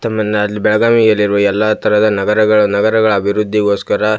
ತಮ್ಮಿನಾ ಬೆಳಗಾವಿಯಲ್ಲಿರುವ ಎಲ್ಲಾ ತರದ ನಗರಗಳ ನಗರಗಳ ಅಭಿರುದ್ದಿ ಗೋಸ್ಕರ --